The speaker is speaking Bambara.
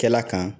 Kɛla kan